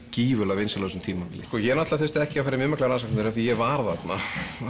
gífurlega vinsæl á þessu tímabili ég þurfti ekki að fara í mjög mikla rannsóknarvinnu því ég var þarna